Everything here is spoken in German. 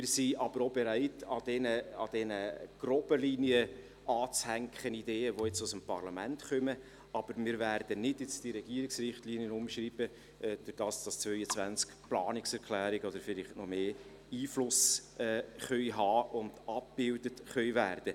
Wir sind bereit, an diese groben Linien Ideen anzuhängen, die aus dem Parlament kommen, aber wir werden nicht die Regierungsrichtlinien umschreiben, damit die 22 Planungserklärungen – oder vielleicht noch mehr – Einfluss nehmen können und abgebildet werden.